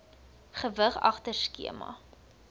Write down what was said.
gewig agter skema